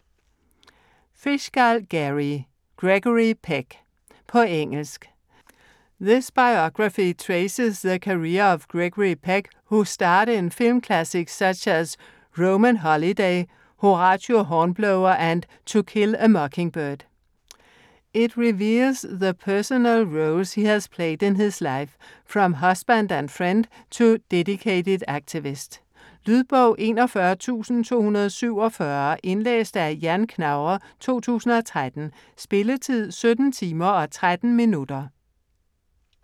Fishgall, Gary: Gregory Peck På engelsk. This biography traces the career of Gregory Peck, who starred in film classics such as 'Roman Holiday', 'Horatio Hornblower' and 'To Kill a Mockingbird'. It reveals the personal roles he has played in his life, from husband and friend to dedicated activist. Lydbog 41247 Indlæst af Ian Knauer, 2013. Spilletid: 17 timer, 13 minutter.